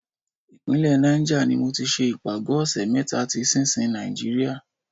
Ìpínlẹ̀ Niger ni mo ti ṣe ìpàgọ́ ọ̀ṣẹ̀ mẹ́ta ti sinsin Nàìjíríà.